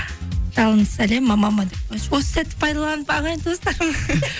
жалынды сәлем мамама деп қояйыншы осы сәтті пайдаланып ағайын туыстарыма